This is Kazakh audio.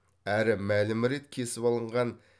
әрі мәлім рет кесіп алынған